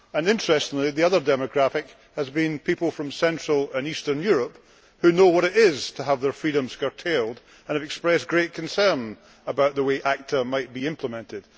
Interestingly, the other demographic has been people from central and eastern Europe who know what it is to have their freedoms curtailed and have expressed great concern about the way ACTA might be implemented.